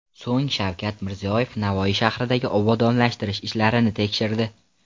So‘ng Shavkat Mirziyoyev Navoiy shahridagi obodonlashtirish ishlarini tekshirdi.